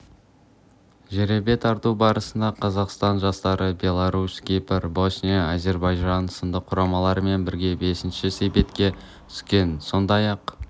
жеребе тарту барысында қазақстан жастары беларусь кипр босния әзербайжан сынды құрамалармен бірге бесінші себетке түскен сондай-ақ